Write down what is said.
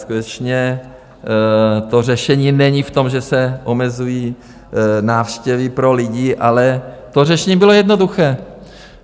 Skutečně to řešení není v tom, že se omezují návštěvy pro lidi, ale to řešení bylo jednoduché.